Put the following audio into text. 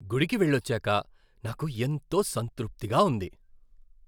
గుడికి వెళ్లొచ్చాక నాకు ఎంతో సంతృప్తిగా ఉంది.